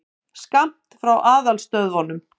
Skammt frá aðalstöðvunum.